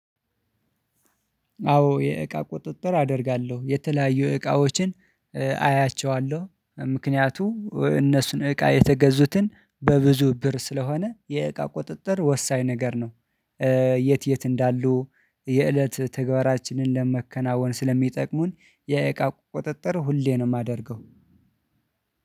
አዎ የእቃ ቁጥጥር አደርጋለሁ የተለያዩ እቃዎችን አይያቸዋለሁ ምክንያቱም እነሱን እቃ የተገዙትን በብዙ ብር ስለሆነ የእቃ ቁጥጥር ወሳኝ ነገር ነው። የት የት እንዳሉ የእለት ተገባራችንን ለማከናወን ስለሚጠቅሙን የእቃ ቁጥጥር ሁሌ ነው የማደርገው።